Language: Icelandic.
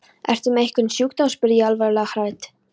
Ertu með einhvern sjúkdóm? spurði ég alvarlega hrædd.